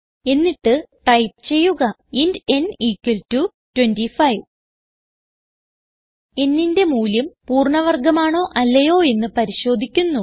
എന്നിട്ട് ടൈപ്പ് ചെയ്യുക int n 25 n ന്റെ മൂല്യം പൂർണ്ണ വർഗമാണോ അല്ലെയോ എന്ന് പരിശോധിക്കുന്നു